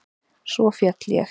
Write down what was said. Svo féll ég.